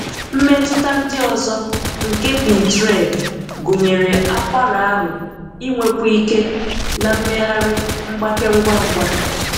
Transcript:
Mmetụta ndị ọzọ nke P tren gụnyèrè akwara ahụ́ ịnwekwu ike na mmegharị mgbake ngwa ngwa.